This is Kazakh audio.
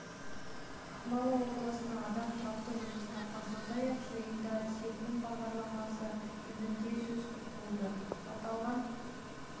ақмола облысында адам тұрақты жұмыс тапқан сондай-ақ жиында серпін бағдарламасы жөнінде де сөз болды аталған